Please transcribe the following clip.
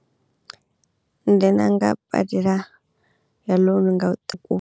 Badela ya loan nga huṱuku.